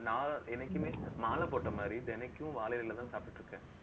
இப்போ நான் என்னைக்குமே மாலை போட்ட மாரி, தினைக்கும் வாழை இலையிலதான் சாப்பிட்டுட்டிருக்கேன்